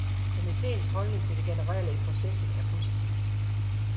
Komiteens holdning til det generelle i projektet er positiv.